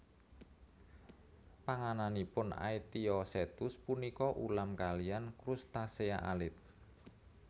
Pangananipun Aetiosetus punika ulam kaliyan crustacea alit